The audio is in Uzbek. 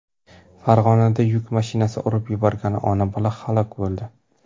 Farg‘onada yuk mashinasi urib yuborgan ona-bola halok bo‘ldi.